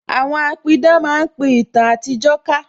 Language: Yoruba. Àwọn apidán máa pin ìtàn àtijó ká